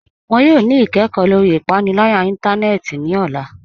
Wọn yọ ni ikẹkọ lọri ipanilaya ìntánẹnẹ́tì ni ọla